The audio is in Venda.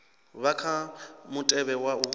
vha kha mutevhe wa u